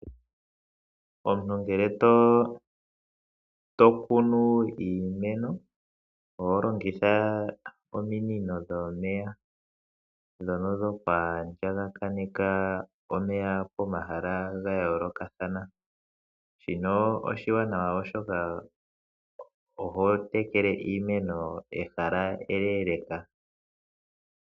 Omuntu ngele to kunu iimeno oho longitha ominino dhomeya dhono dhuku andjakaneka omeya po mahala ga yoolokathana, shino oshiwanawa oshoka oho tekele iimeno ehala enene noonkondo.